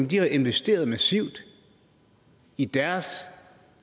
de har jo investeret massivt i deres